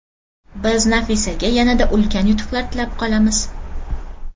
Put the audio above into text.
Biz Nafisaga yanada ulkan yutuqlar tilab qolamiz!